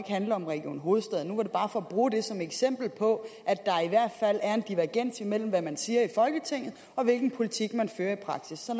handle om region hovedstaden nu var det bare for at bruge det som eksempel på at der i hvert fald er en divergens imellem hvad man siger i folketinget og hvilken politik man fører i praksis så